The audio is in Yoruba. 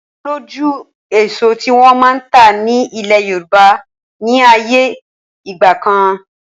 O lójú èso tí wọn máa ń ta ni ilẹ̀ Yorùbá ni ayé ìgbàkan.